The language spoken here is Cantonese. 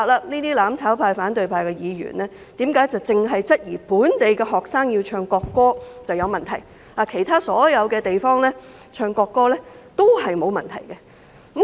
我不明白反對派和"攬炒派"議員為何只質疑要本地學生唱國歌是有問題，其他地方唱國歌則沒有問題。